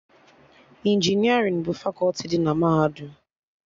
Injinerịn bụ fakọti dị na Mahadum